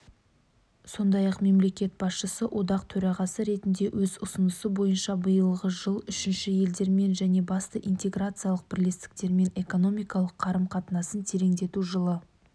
сондай-ақ мемлекет басшысы одақ төрағасы ретінде өз ұсынысы бойынша биылғы жыл үшінші елдермен және басты интеграциялық бірлестіктермен экономикалық қарым-қатынасын тереңдету жылы